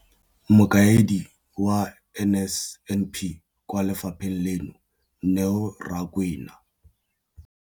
Mokaedi wa NSNP kwa lefapheng leno, Neo Rakwena,